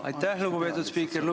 Aitäh, lugupeetud spiiker!